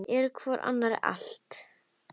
Eru hvor annarri allt.